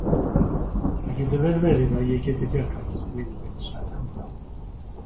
Það getur vel verið að ég geti bjargað þér, vinur minn sagði hann þá.